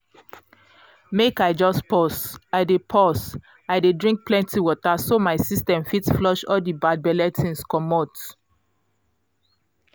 make i just pause. i dey pause. i dey drink plenty water so my system fit flush all the bad belle things comot